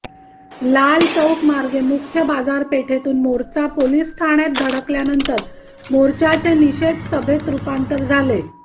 लाल चौक मार्गे मुख्य बाजारपेठेतून मोर्चा पोलीस ठाण्यात धडकल्यानंतर मोर्चाचे निषेध सभेत रूपांतर झाले